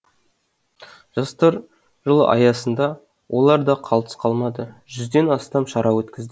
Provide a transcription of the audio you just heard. жастар жылы аясында олар да қалыс қалмады жүзден астам шара өткізді